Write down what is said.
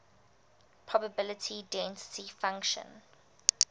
probability density function